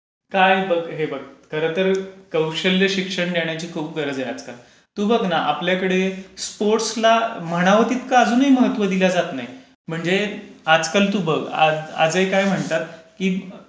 हे बघ. खरं तर कौशल्य शिक्षण घेण्याची खूप गरज आहे आजकाल. तू बघ न आपल्याकडे स्पोर्ट्सला अजूनही म्हणावं तितकं महत्त्व दिलं जात नाही. म्हणजे आजकाल तू बघ आजही काय म्हणतात.